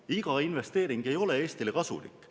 Iga investeering ei ole Eestile kasulik.